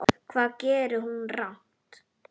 Hvað gerði hún rangt?